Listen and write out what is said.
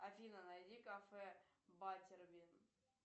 афина найди кафе баттербин